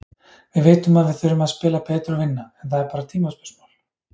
Við vitum að við þurfum að spila betur og vinna, en það er bara tímaspursmál.